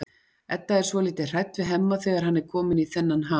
Edda er svolítið hrædd við Hemma þegar hann er kominn í þennan ham.